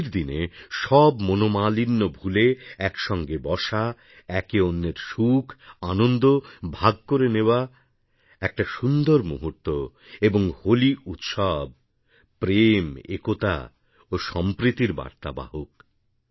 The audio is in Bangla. হোলির দিনে সব মনোমালিণ্যভুলে একসঙ্গে বসা একে অন্যের সুখ আনন্দ ভাগ করে নেওয়া একটা সুন্দর মুহূর্ত এবংহোলি উৎসব প্রেম একতা ও সম্প্রীতির বার্তাবাহক